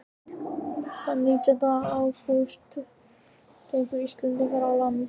Þann nítjánda ágúst gengu Íslendingarnir á land í